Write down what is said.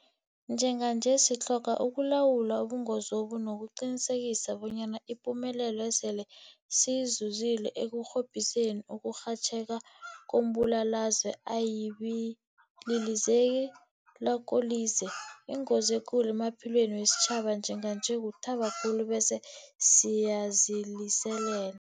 Njenganje sitlhoga ukulawula ubungozobu nokuqinisekisa bonyana ipumelelo esele siyizuzile ekurhobhiseni ukurhatjheka kombulalazwe ayibililize lakolize. Ingozi ekulu emaphilweni wesitjhaba njenganje kuthaba khulu bese siyaziliselela.